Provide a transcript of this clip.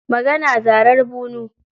Magana, zarar bunu.